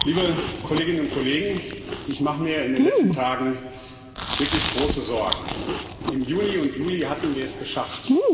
Frau Präsidentin, liebe Kolleginnen und Kollegen! Ich mache mir in den letzten Tagen wirklich große Sorgen. Im Juni und Juli hatten wir es geschafft.